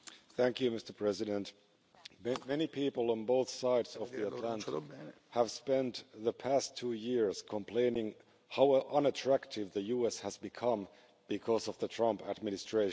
Mr President, many people on both sides of sides of the Atlantic have spent the past two years complaining how unattractive the US has become because of the Trump administration.